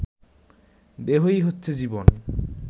দেহ-ই হচ্ছে জীবন